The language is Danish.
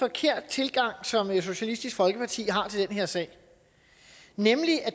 forkert tilgang som socialistisk folkeparti har til den her sag